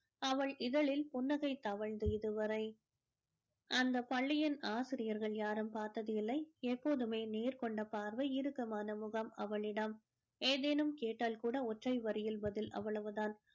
அவள் இதழில் புன்னகை தவழ்ந்து இதுவரை அந்த பள்ளியின் ஆசிரியர்கள் யாரும் பார்த்தது இல்லை எப்போதுமே நேர்கொண்ட பார்வை இறுக்கமான முகம் அவளிடம் எதேனும் கேட்டால் கூட ஒற்றை வரியில் பதில அவ்வளவுதான்